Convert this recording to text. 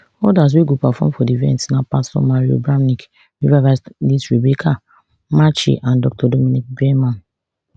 odas wey go perform for di event na pastor mario bramnick revivalist rebecca macchi and dr dominiquae bierman